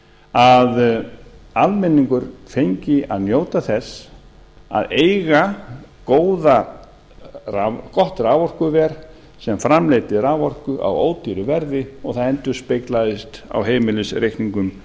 að almenningur fengi að njóta þess að eiga gott raforkuver sem framleiddi raforku á ódýru verði og það endurspeglaðist á heimilisreikningum